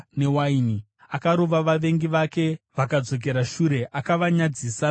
Akarova vavengi vake vakadzokera shure; akavanyadzisa nokusingaperi.